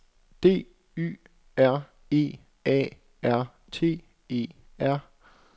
D Y R E A R T E R